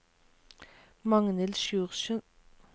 Magnhild Sjursen